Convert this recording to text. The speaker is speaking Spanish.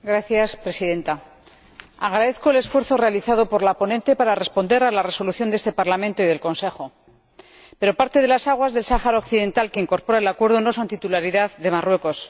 Señora Presidenta, agradezco el esfuerzo realizado por la ponente para responder a la resolución de este Parlamento y del Consejo, pero parte de las aguas del Sáhara Occidental, que incorpora el Acuerdo, no son titularidad de Marruecos.